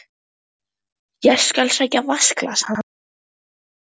Ég skal sækja vatnsglas handa þér